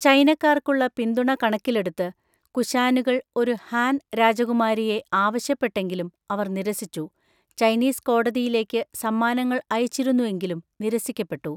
ചൈനക്കാർക്കുള്ള പിന്തുണ കണക്കിലെടുത്ത്, കുശാനുകൾ ഒരു ഹാൻ രാജകുമാരിയെ ആവശ്യപ്പെട്ടെങ്കിലും അവർ നിരസിച്ചു, ചൈനീസ് കോടതിയിലേക്ക് സമ്മാനങ്ങൾ അയച്ചിരുന്നു എങ്കിലും നിരസിക്കപ്പെട്ടു.